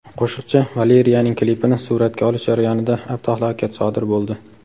Qo‘shiqchi Valeriyaning klipini suratga olish jarayonida avtohalokat sodir bo‘ldi.